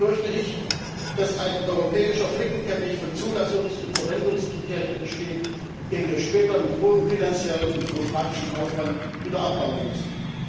So befürchte ich, dass ein europäischer Flickenteppich von Zulassungs und Verwendungskriterien entsteht, den wir später mit hohem finanziellem und bürokratischem Aufwand wieder abbauen müssen.